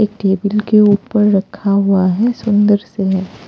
एक टेबल के ऊपर रखा हुआ हैं सुंदर से है।